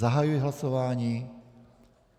Zahajuji hlasování.